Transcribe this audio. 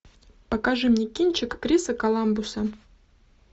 покажи мне кинчик криса коламбуса